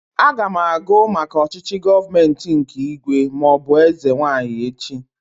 Aga m agụ maka ọchịchị gọọmenti nke ígwè maọbụ eze nwaanyị echi